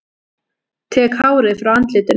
Tek hárið frá andlitinu.